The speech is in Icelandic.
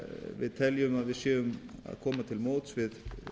við teljum að við séum að koma til móts við